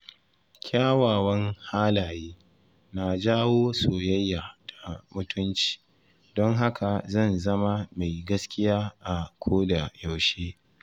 Kyawawan halaye na jawo soyayya da mutunci, don haka zan zama mai gaskiya a koda yaushe.